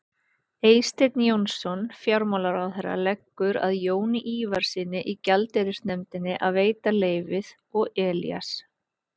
Eysteinn Jónsson fjármálaráðherra leggur að Jóni Ívarssyni í gjaldeyrisnefndinni að veita leyfið og Elías